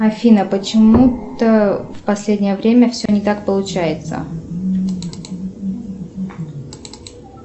афина почему то в последнее время все не так получается